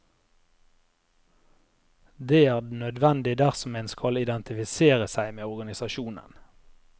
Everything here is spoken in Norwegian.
Det er nødvendig dersom en skal identifisere seg med organisasjonen.